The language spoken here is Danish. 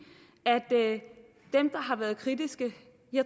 at dem der har været kritiske